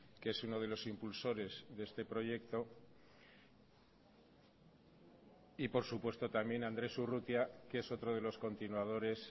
que es uno de los impulsores de este proyecto y por supuesto también andrés urrutia que es otro de los continuadores